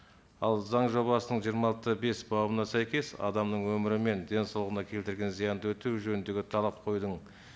ал заң жобасының жиырма алты да бес бабына сәйкес адамның өмірі мен денсаулығына келтірген зиянды өтеу жөніндегі талап қоюдың